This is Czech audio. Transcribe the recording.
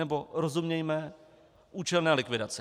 Nebo, rozumějme, účelné likvidaci.